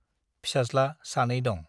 फिसाज्ला सानै दं ।